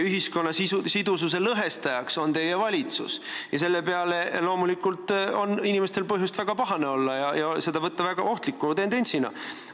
Ühiskonna lõhestajaks on teie valitsus ja selle peale loomulikult on inimestel põhjust väga pahane olla ja võtta seda väga ohtliku tendentsina.